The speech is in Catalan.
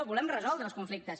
volem resoldre els conflictes